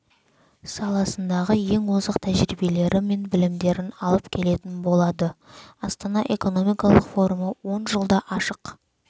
саласындағы ең озық тәжірибелері мен білімдерін алып келетін болады астана экономикалық форумы он жылда ашық